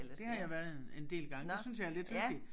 Der har jeg været en en del gange det synes jeg er lidt hyggeligt